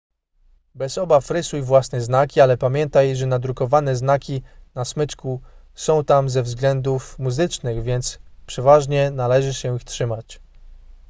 bez obaw rysuj własne znaki ale pamiętaj że nadrukowane znaki na smyczku są tam ze względów muzycznych więc przeważnie należy się ich trzymać